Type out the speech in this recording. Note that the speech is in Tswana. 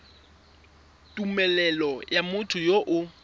tumelelo ya motho yo o